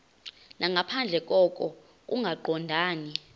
nangaphandle koko kungaqondani